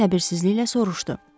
Həkim səbirsizliklə soruşdu.